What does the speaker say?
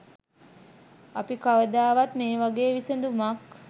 අපි කවදාවත් මේ වගේ විසඳුමක්